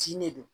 Tin ne don